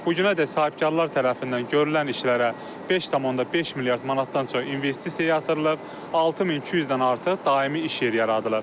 Bu günədək sahibkarlar tərəfindən görülən işlərə 5.5 milyard manatdan çox investisiya yatırılıb, 6200-dən artıq daimi iş yeri yaradılıb.